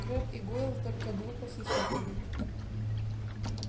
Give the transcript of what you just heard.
крэбб и гойл только глупо хихикали